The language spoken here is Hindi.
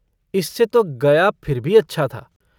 इससे तो गया फिर भी अच्छा था।